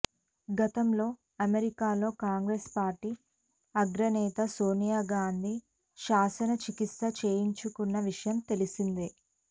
గతంలో అమెరికాలో Congress party అగ్రనేత సోనియా గాంధీ శస్త్ర చికిత్స చేయించుకున్న విషయం తెలిసిందే